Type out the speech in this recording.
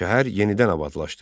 Şəhər yenidən abadlaşdı.